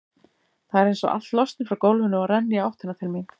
Það er einsog allt losni frá gólfinu og renni í áttina til mín.